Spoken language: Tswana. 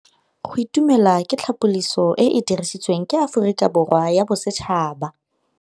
Go itumela ke tsela ya tlhapolisô e e dirisitsweng ke Aforika Borwa ya Bosetšhaba.